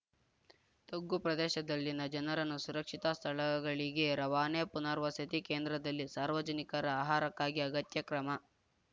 ತಗ್ಗು ಪ್ರದೇಶದಲ್ಲಿನ ಜನರನ್ನು ಸುರಕ್ಷಿತ ಸ್ಥಳಗಳಿಗೆ ರವಾನೆ ಪುನರ್ವಸತಿ ಕೇಂದ್ರದಲ್ಲಿ ಸಾರ್ವಜನಿಕರ ಆಹಾರಕ್ಕಾಗಿ ಅಗತ್ಯ ಕ್ರಮ